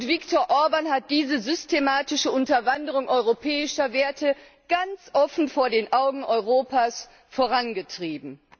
Viktor Orbán hat diese systematische Unterwanderung europäischer Werte ganz offen vor den Augen Europas vorangetrieben.